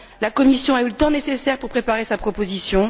La Commission a eu le temps nécessaire pour préparer sa proposition.